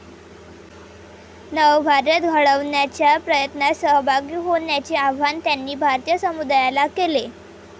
नवभारत घडवण्याच्या प्रयत्नात सहभागी होण्याचे आवाहन त्यांनी भारतीय समुदायाला केले.